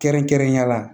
Kɛrɛnkɛrɛnnenya la